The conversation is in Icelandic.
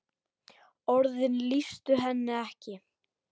Orðin lýstu henni ekki.